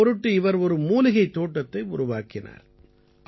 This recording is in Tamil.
இதன் பொருட்டு இவர் ஒரு மூலிகைத் தோட்டத்தை உருவாக்கினார்